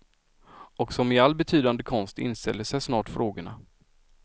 Och som i all betydande konst inställer sig snart frågorna.